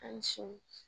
A sini